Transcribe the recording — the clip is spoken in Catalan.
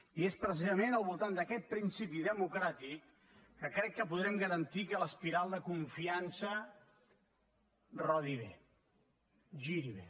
i és precisament al voltant d’aquest principi democràtic que crec que podrem garantir que l’espiral de confiança rodi bé giri bé